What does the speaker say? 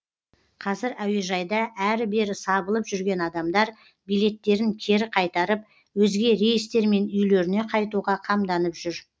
қазір әуежайда әрі бері сабылып жүрген адамдар билеттерін кері қайтарып өзге рейстермен үйлеріне қайтуға қамданып жүр